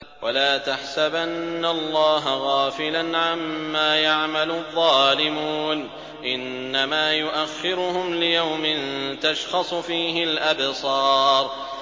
وَلَا تَحْسَبَنَّ اللَّهَ غَافِلًا عَمَّا يَعْمَلُ الظَّالِمُونَ ۚ إِنَّمَا يُؤَخِّرُهُمْ لِيَوْمٍ تَشْخَصُ فِيهِ الْأَبْصَارُ